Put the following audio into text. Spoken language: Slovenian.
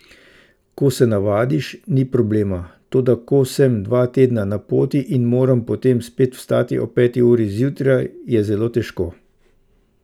Ko se navadiš, ni problema, toda ko sem dva tedna na poti in moram potem spet vstati ob peti uri zjutraj, je zelo težko.